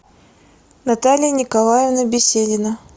наталья николаевна беседина